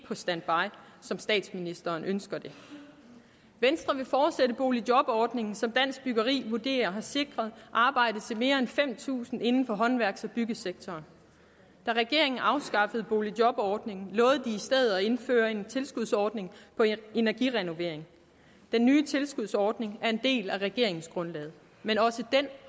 på standby som statsministeren ønsker det venstre vil fortsætte boligjobordningen som dansk byggeri vurderet har sikret arbejde til mere end fem tusind inden for håndværks og byggesektoren da regeringen afskaffede boligjobordningen lovede den i stedet for at indføre en tilskudsordning på energirenovering den nye tilskudsordning er en del af regeringsgrundlaget men også den